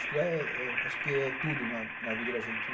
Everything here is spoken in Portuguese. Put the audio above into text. Estudar eh eh acho que é tudo na na vida da gente.